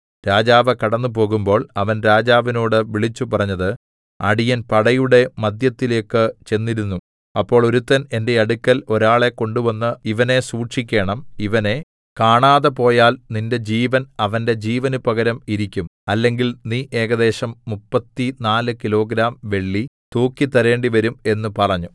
രാജാവ് കടന്ന് പോകുമ്പോൾ അവൻ രാജാവിനോട് വിളിച്ചുപറഞ്ഞത് അടിയൻ പടയുടെ മദ്ധ്യത്തിലേക്ക് ചെന്നിരുന്നു അപ്പോൾ ഒരുത്തൻ എന്റെ അടുക്കൽ ഒരാളെ കൊണ്ടുവന്ന് ഇവനെ സൂക്ഷിക്കേണം ഇവനെ കാണാതെ പോയാൽ നിന്റെ ജീവൻ അവന്റെ ജീവന് പകരം ഇരിക്കും അല്ലെങ്കിൽ നീ ഏകദേശം 34 കിലോഗ്രാം വെള്ളി തൂക്കി തരേണ്ടിവരും എന്ന് പറഞ്ഞു